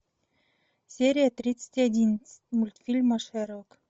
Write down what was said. серия тридцать один мультфильма шерлок